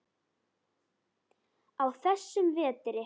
á þessum vetri.